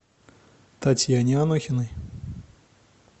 татьяне анохиной